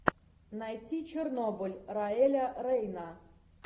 найти чернобыль раэля рейна